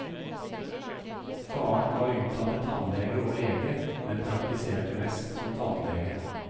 Faren var utdannet tannlege og lege, men praktiserte mest som tannlege.